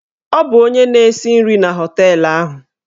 Ọ bụ onye na-esi nri na họteelụ ahụ.